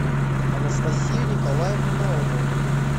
анастасию николаевну наумову